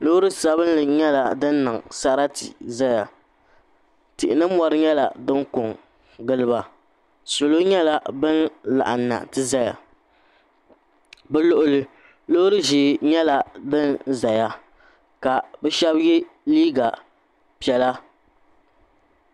Loori sabinli nyɛla di niŋ Sarati zaya tihi ni mori nyɛla dini ko n gili ba salo nyɛla ban laɣim bi luɣuli loori ʒɛɛ nyɛla bini zaya ka bi shɛba ye liiga piɛla.